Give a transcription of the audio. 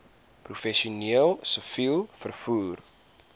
professioneel siviel vervoer